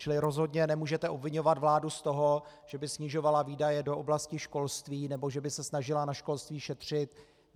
Čili rozhodně nemůžete obviňovat vládu z toho, že by snižovala výdaje do oblasti školství nebo že by se snažila na školství šetřit.